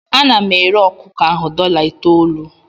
Ana m ere ọkụkọ ahụ dọla itoolu.